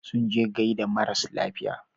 Sun je gaida maras lafiya.